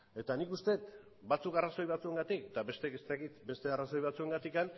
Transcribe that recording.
eta nik uste dut batzuk arrazoi batzuengatik eta besteek ez dakit beste arrazoi batzuengatik